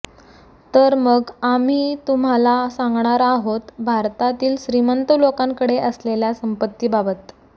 तर मग अाम्ही तुम्हाला सांगणार अाहोत भारतातील श्रीमंत लोकांकडे असलेल्या संपत्तीबाबत